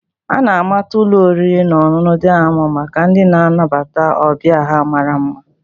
A na-amata ụlọ oriri na ọṅụṅụ Dayamond maka ndị na-anabata ọbịa ha mara mma